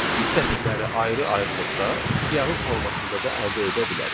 Biz sətirləri ayrı-ayrılıqda siyahı formasında da əldə edə bilərik.